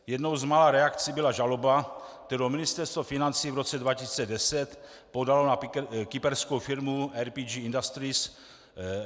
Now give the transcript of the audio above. Jednou z mála reakcí byla žaloba, kterou Ministerstvo financí v roce 2010 podalo na kyperskou firmu RPG Industries.